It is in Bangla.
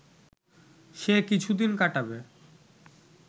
সে কিছুদিন কাটাবে